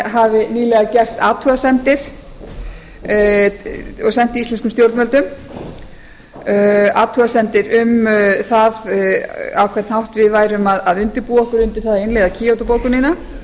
hafi nýlega gert athugasemdir og sent íslenskum stjórnvöldum athugasemdir um það á hvern hátt við værum að undirbúa okkur um það að innleiða kyoto bókunina